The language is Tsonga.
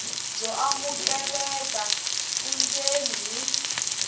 byo amukeleka vundzeni hi